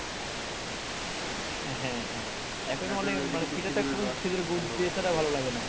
হ্যাঁ হ্যাঁ ভালো লাগে না